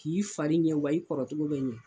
K'i farin ɲɛ wa i kɔrɔ cogo bɛ ɲɛn.